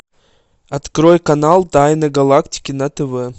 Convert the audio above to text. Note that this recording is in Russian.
открой канал тайны галактики на тв